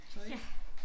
Tøj